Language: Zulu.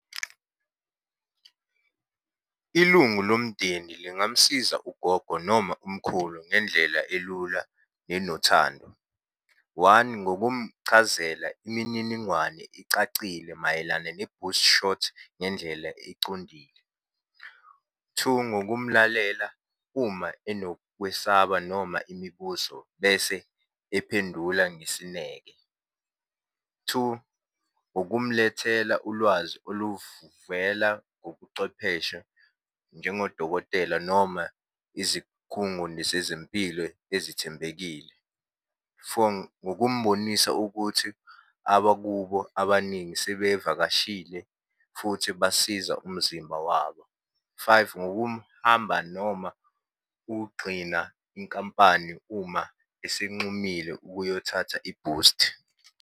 Ilungu lomndeni lingamusiza ugogo noma umkhulu ngendlela elula nenothando. One ngokumchazela imininingwane ecacile mayelana ne-boost shot, ngendlela econdile. Two, ngokumlalela uma enokwesaba noma imibuzo, bese ephendula ngesineke. Two, ukumlethela ulwazi oluvela ngobucwepheshe njengodokotela noma izikhungoni zezempilo ezithembekile. Four ngokumbonisa ukuthi abakubo abaningi sebevakashile, futhi basiza umzimba wabo. Five ngokumhamba noma ukugxina inkampani uma isinxumile ukuyothatha ibhusti.